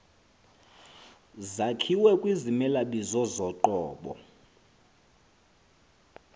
zakhiwa kwizimelabizo zoqobo